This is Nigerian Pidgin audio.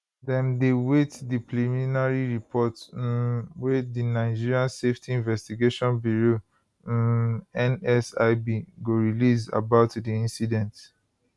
dem dey wait di preliminary report um wey di nigeria safety investigation bureau um nsib go release about di incident